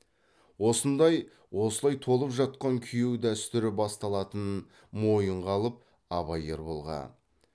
осыдан осылай толып жатқан күйеу дәстүрі басталатынын мойынға алып абай ерболға